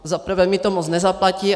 Za prvé mi to moc nezaplatí.